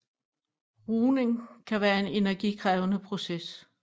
Rugning kan være en energikrævende proces